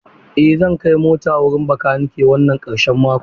Eh zan kai mota wurin makanike wannan ƙarshen mako.